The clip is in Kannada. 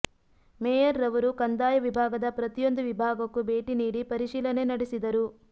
ಮೇಯರ್ರವರು ಕಂದಾಯ ವಿಭಾಗದ ಪ್ರತಿಯೊಂದು ವಿಭಾಗಕ್ಕೂ ಭೇಟಿ ನೀಡಿ ಪರಿಶೀಲನೆ ನಡೆಸಿದರು